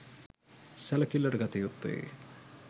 සැලකිල්ලට ගත යුත්තේ